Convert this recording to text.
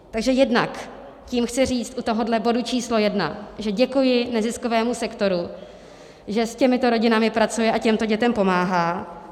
Takže jednak tím chci říct u tohoto bodu číslo jedna, že děkuji neziskovému sektoru, že s těmito rodinami pracuje a těmto dětem pomáhá.